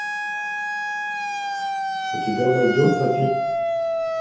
у тебя найдется фильм